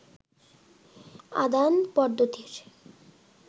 আদান পদ্ধতির